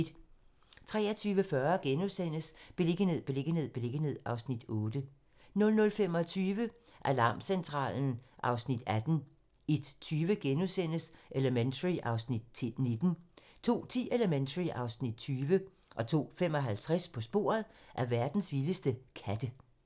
23:40: Beliggenhed, beliggenhed, beliggenhed (Afs. 8)* 00:25: Alarmcentralen (Afs. 18) 01:20: Elementary (Afs. 19)* 02:10: Elementary (Afs. 20) 02:55: På sporet af verdens vildeste katte